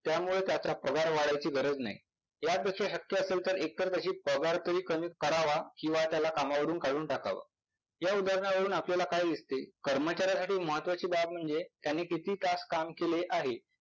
त्यामुळे त्याचा पगार वाढायची गरज नाही. यापेक्षा शक्य असेल तर त्याचा पगार तरी कमी करावा किंवा त्याला कामावरून काढून टाकाव. या उदाहरणावरून आपल्याला काय दिसते? कर्मचाऱ्यासाठी महत्वाची बाब म्हणजे त्याने किती तास काम केले आहे